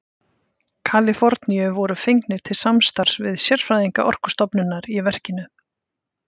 Kaliforníu voru fengnir til samstarfs við sérfræðinga Orkustofnunar í verkinu.